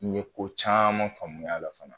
N ye ko caaman faamuy'a la fana.